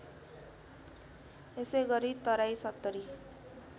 त्यसैगरी तराई ७०